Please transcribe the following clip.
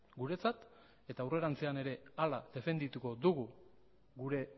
guretzat eta aurrerantzean ere hala defendituko dugu gure